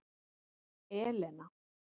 Elena